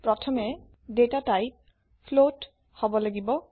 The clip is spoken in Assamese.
প্রথমে ডেটা টাইপ ফ্লোট হব লাগিব